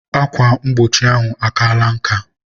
Akwa mgbochi ahụ akaala nka